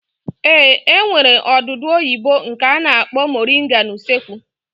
Ee, e nwere odudu oyibo nke a na-akpọ moringa n'usekwu